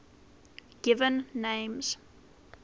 given names